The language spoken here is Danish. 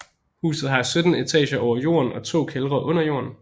Huset har 17 etager over jorden og to kældre under jorden